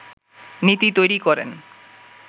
নীতি তৈরি করেন